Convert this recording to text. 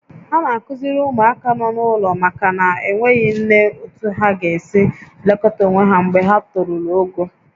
A na-akụziri ụmụaka nọ n'ụlọ ụmụaka na-enweghị nne otú ha ga-esi elekọta onwe ha mgbe ha toruru ogo